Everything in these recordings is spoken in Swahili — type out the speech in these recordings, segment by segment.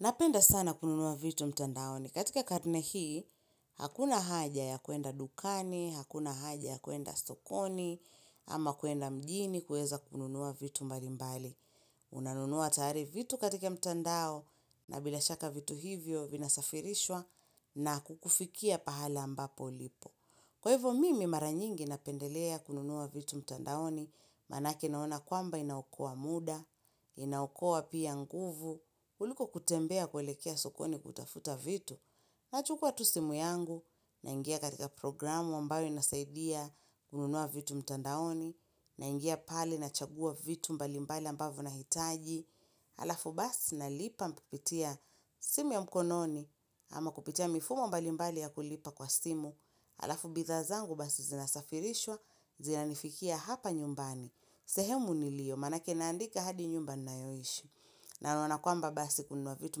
Napenda sana kununua vitu mtandaoni. Katika karne hii, hakuna haja ya kuenda dukani, hakuna haja ya kuenda sokoni, ama kuenda mjini kueza kununua vitu mbalimbali. Unanunua tayari vitu katika mtandao na bila shaka vitu hivyo vinasafirishwa na kukufikia pahali ambapo ulipo. Kwa hivyo mimi mara nyingi napendelea kununua vitu mtandaoni, manake naona kwamba inaokoa muda, inaokoa pia nguvu, kuliko kutembea kuelekea sokoni kutafuta vitu, nachukua tu simu yangu, naingia katika programu ambayo inasaidia kununua vitu mtandaoni, naingia pale nachagua vitu mbalimbali ambavyo nahitaji, alafu basi nalipa kupitia simu ya mkononi ama kupitia mifumo mbalimbali ya kulipa kwa simu alafu bithaa zangu basi zinasafirishwa zinanifikia hapa nyumbani sehemu nilio manake naandika hadi nyumba nayoishi naona kwamba basi kununua vitu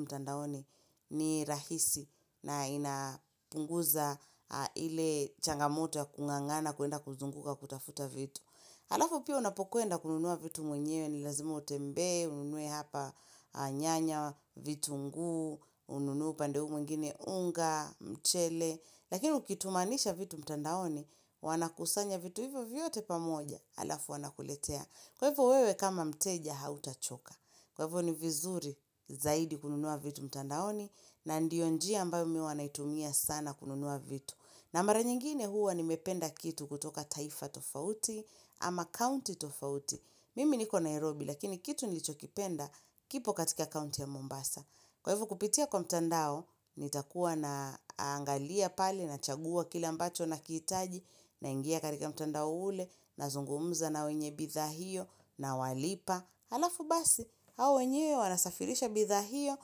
mtandaoni ni rahisi na inapunguza ile changamoto ya kungangana kuenda kuzunguka kutafuta vitu Halafu pia unapokwenda kununua vitu mwenyewe ni lazimu utembe, ununue hapa nyanya, vitunguu, ununue upande huu mwingine, unga, mchele. Lakini ukitumanisha vitu mtandaoni, wanakusanya vitu hivyo vyote pamoja, halafu wanakuletea. Kwa hivyo wewe kama mteja hautachoka. Kwa hivyo ni vizuri zaidi kununua vitu mtandaoni na ndiyo njia ambayo mimi huwa naitumia sana kununua vitu. Na mara nyingine huwa nimependa kitu kutoka taifa tofauti ama kaunti tofauti. Mimi niko Nairobi lakini kitu nilicho kipenda kipo katika kaunti ya Mombasa. Kwa hivyo kupitia kwa mtandao, nitakuwa na angalia pale, nachagua kile ambacho nakihitaji, naingia katika mtandao ule, nazungumza na wenye bithaa hio, nawalipa. Halafu basi, hao wenyewe wanasafirisha bithaa hio,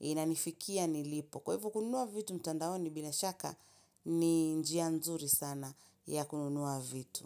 inanifikia nilipo. Kwa hivyo kununua vitu mtandaoni bila shaka ni njia nzuri sana ya kununua vitu.